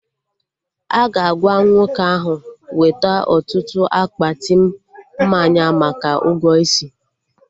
Aga agwa nwoke ahụ weta ọtụtụ akpati mmanya maka ụgwọ isi